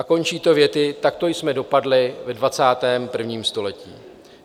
A končí to větou: "Takto jsme dopadli ve 21. století."